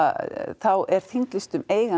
þá er þinglýstum eiganda